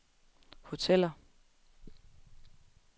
hoteller